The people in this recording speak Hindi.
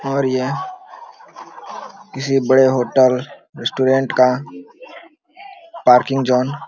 और यह किसी बड़े होटल रेस्टोरेंट का पार्किंग जोन --